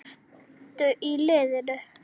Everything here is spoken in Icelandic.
Ertu í liðinu?